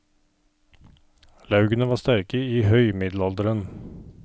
Laugene var sterke i høg middelalderen.